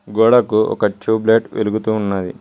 గోడకు ఒక tube light వెలుగుతూ ఉన్నది.